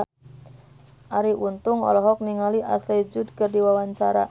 Arie Untung olohok ningali Ashley Judd keur diwawancara